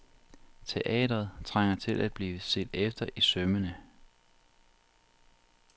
Teatret trænger til at blive set efter i sømmene.